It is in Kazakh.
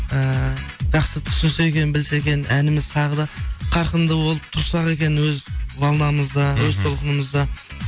ііі жақсы түсінсе екен білсе екен әніміз тағы да қарқынды болып тұрсақ екен өз волнамызда өз толқынымызда